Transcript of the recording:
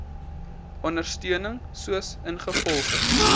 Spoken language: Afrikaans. ondersteuning soos ingevolge